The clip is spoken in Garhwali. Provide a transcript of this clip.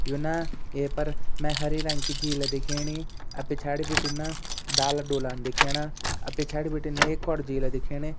यू ना ये पर मे हरे रंग की झील दिखेणी अ पिछाड़ि बिटिन ना डाला डोलान दिखेणा अ पिछाड़ि बटिन एक और झीला दिखेणी।